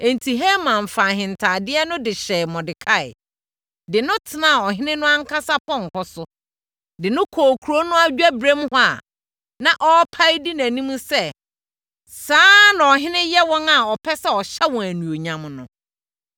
Enti, Haman faa ahentadeɛ no de hyɛɛ Mordekai, de no tenaa Ɔhene no ankasa pɔnkɔ so, de no kɔɔ kuro no adwaberem hɔ a na ɔpae di nʼanim sɛ, “Saa na ɔhene yɛ wɔn a ɔpɛ sɛ ɔhyɛ wɔn animuonyam no.”